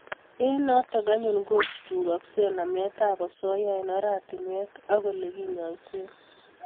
eng notok anyun ko chuchuakse namet a asoya eng' oratinwek ole kinyaise